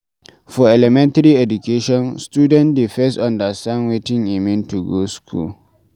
For elementary education, student dey first understand wetin e mean to go school